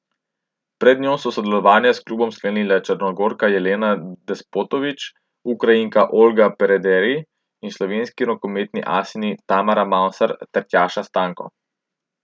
Pred njo so sodelovanje s klubom sklenile Črnogorka Jelena Despotović, Ukrajinka Olga Perederij in slovenski rokometni asinji Tamara Mavsar ter Tjaša Stanko.